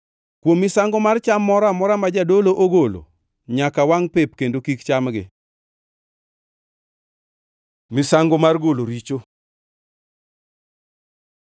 Kuom misango mar cham moro amora ma jadolo ogolo nyaka wangʼ pep kendo kik chamgi.” Misango mar golo richo